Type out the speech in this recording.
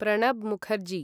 Pranab Mukherjee